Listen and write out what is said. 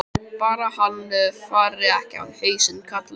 Bara hann fari ekki á hausinn, karlinn.